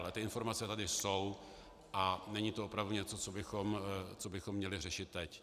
Ale ty informace tady jsou a není to opravdu něco, co bychom měli řešit teď.